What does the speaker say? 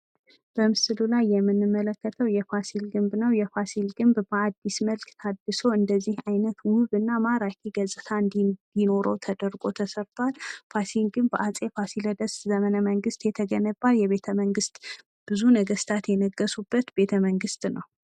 በምስሉ ላይ የምንመለከተው የፋሲል ግንብ ነው። የፋሲል ግንብ በአዲስ መልክ ታዲሶ እንደዚህ አይነት ውብ እና ማራኪ ገፅታ እንዲኖረው ተደርጎ ተሰርቷል። ፋሲል ግንብ በአፄ ፋሲለደስ ዘመነ መንግስት የተገነባ የቤተ መንግስት ብዙ ነገስታት የነገሱበት ቤተ መንግስት ነው።0